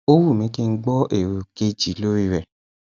ó wù mih kí n gbọ èrò kejì lórí rẹ